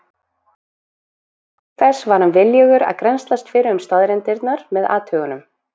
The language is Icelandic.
Auk þess var hann viljugur að grennslast fyrir um staðreyndirnar með athugunum.